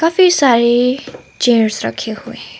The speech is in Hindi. काफी सारी चेयर्स रखे हुए हैं।